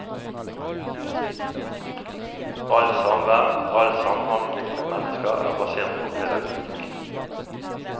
Alt samvær, all samhandling med mennesker er basert på pedagogikk.